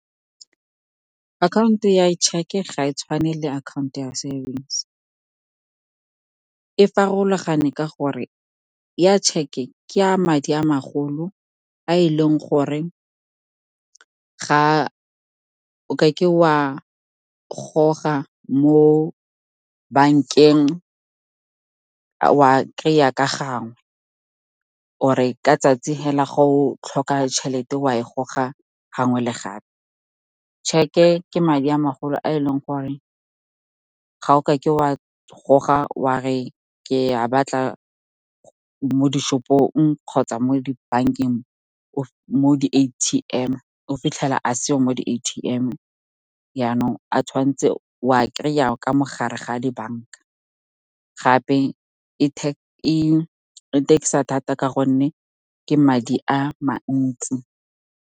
Akhaonto ya cheque-ke ga e tshwane le akhaonto ya savings. E farologane ka gore ya tšheke ke a madi a magolo a e leng gore ga o ka ke o a goga mo bankeng. O a kry-a ka gangwe, or-e ka tsatsi hela, ga o tlhoka tšhelete wa e goga gangwe le gape. Cheque-ke ke madi a magolo a e leng gore ga o ka ke wa goga wa re ke a batla mo di-shop-ong kgotsa mo dibankeng, mo di-A_T_M, o fitlhela a seyo mo di-A_T_M yaanong, o a kry-a ka mo gare ga dibanka. Gape e tax-a thata ka gonne ke madi a mantsi.